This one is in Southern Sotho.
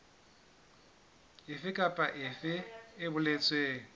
efe kapa efe e boletsweng